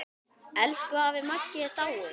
Elsku afi Maggi er dáinn.